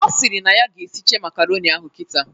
Ọ sịrị na ya ga-eshiche makaronị ahụ kịta